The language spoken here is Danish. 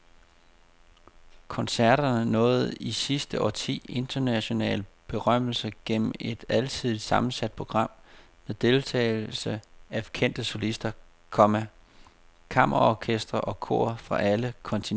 Koncerterne nåede i sidste årti international berømmelse gennem et alsidigt sammensat program med deltagelse af kendte solister, komma kammerorkestre og kor fra alle kontinenter. punktum